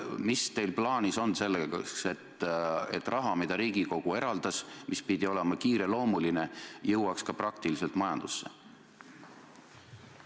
Mis teil on plaanis teha, et raha, mille Riigikogu eraldas ja mille rakendamine pidi olema kiireloomuline, jõuaks ka praktiliselt majandusse?